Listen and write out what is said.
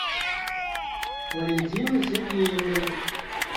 валентиной сергеевной